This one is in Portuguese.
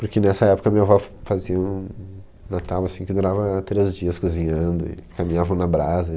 Porque nessa época minha avó f, fazia um Natal assim que durava três dias cozinhando e caminhavam na brasa.